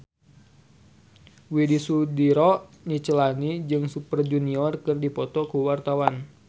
Widy Soediro Nichlany jeung Super Junior keur dipoto ku wartawan